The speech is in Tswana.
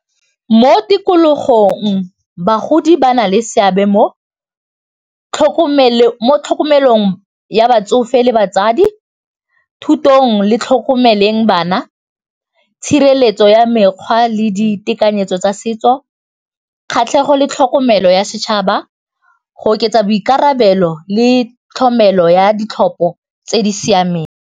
Mo tikologong bagodi ba na le seabe mo tlhokomelong ya batsofe le batsadi thutong le tlhokomeleng bana, tshireletso ya mekgwa le ditekanyetso tsa setso, kgatlhego le tlhokomelo ya setšhaba go oketsa boikarabelo le tlhokomelo ya ditlhopho tse di siamemg.